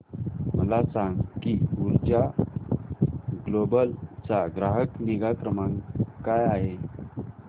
मला सांग की ऊर्जा ग्लोबल चा ग्राहक निगा क्रमांक काय आहे